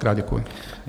Mockrát děkuji.